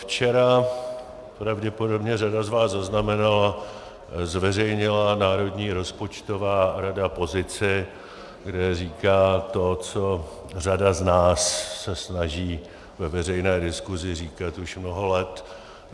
Včera, pravděpodobně řada z vás zaznamenala, zveřejnila Národní rozpočtová rada pozici, kde říká to, co řada z nás se snaží ve veřejné diskusi říkat už mnoho let.